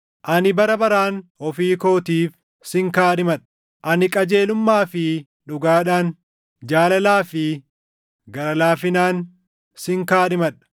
Ani bara baraan ofii kootiif sin kaadhimadha; ani qajeelummaa fi dhugaadhaan jaalalaa fi gara laafinaan sin kaadhimadha.